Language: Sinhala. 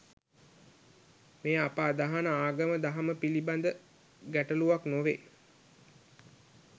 මෙය අප අදහන ආගම දහම පිලිබද ගැටලුවක් නොවේ.